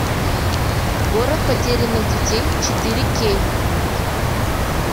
город потерянных детей четыре кей